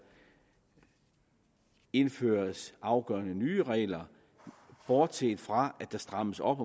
indføres afgørende nye regler bortset fra at der strammes op